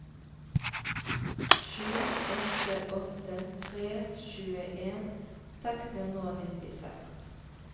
sju åtte åtte tre tjueen seks hundre og nittiseks